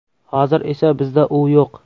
Hozir esa bizda u yo‘q.